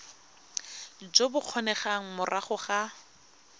jo bo kgonegang morago ga